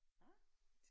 Aha